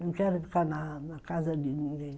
Não quero ficar na na casa de ninguém.